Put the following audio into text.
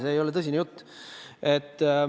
See ei ole tõsine jutt.